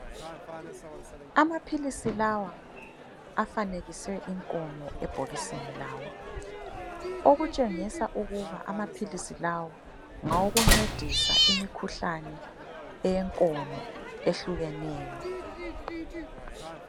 Amaphilisi lawa afanekise inkomo ebhokisini lawo okutshengisa ukuba amaphilisi lawo ngawokuncedisa imikhuhlane eyenkomo ehlukeneyo.